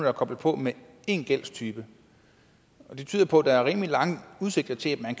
er koblet på med én gældstype og det tyder på at der er rimelig lange udsigter til at man